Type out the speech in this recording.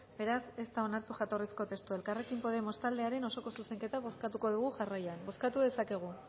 beraz ez da onartu jatorrizko testua elkarrekin podemos taldearen osoko zuzenketa bozkatuko dugu jarraian bozkatu dezakegu